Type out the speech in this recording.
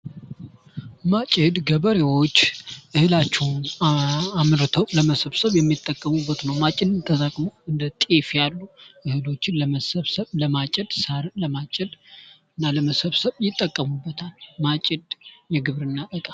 ማጭድ ገበሬዎች እህላቸውን አምርተው ለመሰብሰብ የሚጠቀሙበት ነው ። ማጭድን ተጠቅሞ እንደ ጤፍ ያሉ እህሎችን ለመሰብሰብ ፣ ለማጨድ ፣ ሳርን ለማጨድ እና ለመሰብሰብ ይጠቀሙበታል ። ማጭድ የግብርና እቃ ።